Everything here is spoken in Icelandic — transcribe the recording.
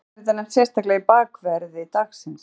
Hvers vegna er þetta nefnt sérstaklega í bakverði dagsins?